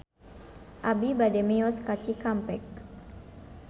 Abi bade mios ka Cikampek